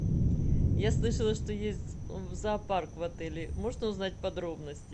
я слышала что есть зоопарк в отеле можно узнать подробности